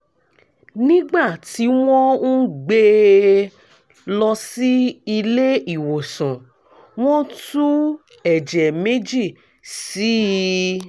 nígbà tí wọ́n ń gbé e lọ sí ilé ìwòsàn wọ́n tú ẹ̀jẹ̀ méjì sí i